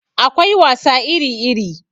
Akwai wasa iri iri